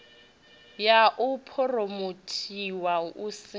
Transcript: ya u phuromothiwa hu si